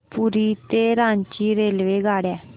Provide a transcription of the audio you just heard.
पुरी ते रांची रेल्वेगाड्या